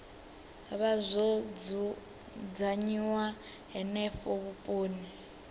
vha zwo dzudzanyiwa henefho vhuponi